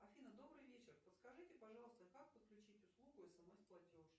афина добрый вечер подскажите пожалуйста как подключить услугу смс платеж